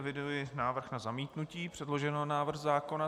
Eviduji návrh na zamítnutí předloženého návrhu zákona.